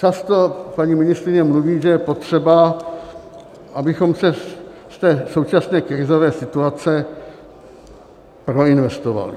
Často paní ministryně mluví, že je potřeba, abychom se z té současné krizové situace proinvestovali.